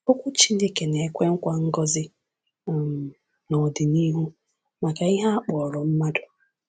Okwu Chineke na-ekwe nkwa ngọzi um n’ọdịnihu maka ihe a kpọrọ mmadụ